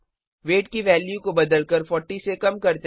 wait की value को बदलकर 40 से कम करते हैं